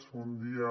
bon dia